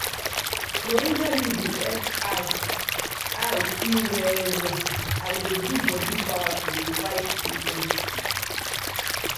moringa leaf dey help eye eye see well well and e dey give bodi power to dey fight sickness.